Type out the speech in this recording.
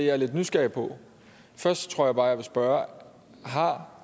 er lidt nysgerrig på først tror jeg bare jeg vil spørge har